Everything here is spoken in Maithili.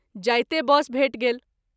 जाइते बस भेटि गेल।